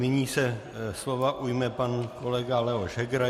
Nyní se slova ujme pan kolega Leoš Heger.